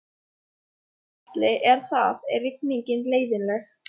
Gunnar Atli: Er það, er rigningin leiðinleg?